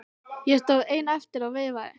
Ég stóð einn eftir og veifaði.